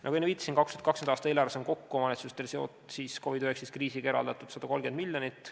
" Nagu enne viitasin, 2020. aasta eelarves on omavalitsustele eraldatud COVID-19 kriisiga seonduvalt kokku 130 miljonit.